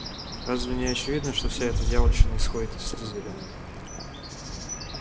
разве не очевидно что вся эта дьявольщина исходит из слизерина